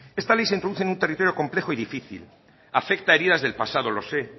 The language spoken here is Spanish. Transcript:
esta ley se introduce en un territorio complejo y difícil afecta a heridas del pasado lo sé